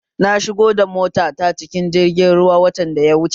Na shigo da mota ta cikin jirgi ruwa watan da ya wuche